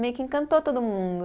Meio que encantou todo mundo.